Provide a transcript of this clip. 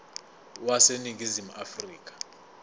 wase ningizimu afrika